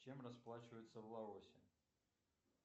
чем расплачиваются в лаосе